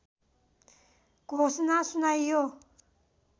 घोषणा सुनाइयो